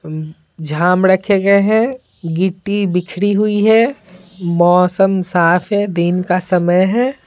झाम ड़खे गए है गिट्टी बिखरी हुई है मौसम साफ है दिन का समय है।